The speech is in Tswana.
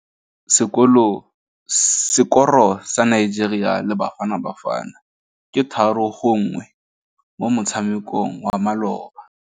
Sekôrô sa Nigeria le Bafanabafana ke 3-1 mo motshamekong wa malôba.